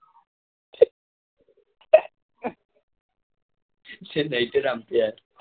সে